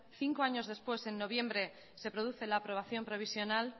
cinco años después en noviembre se produce la aprobación provisional